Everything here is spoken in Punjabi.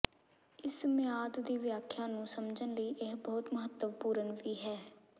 ਇਸ ਮਿਆਦ ਦੀ ਵਿਆਖਿਆ ਨੂੰ ਸਮਝਣ ਲਈ ਇਹ ਬਹੁਤ ਮਹੱਤਵਪੂਰਨ ਵੀ ਹੈ